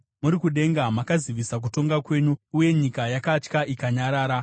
Muri kudenga makazivisa kutonga kwenyu, uye nyika yakatya ikanyarara,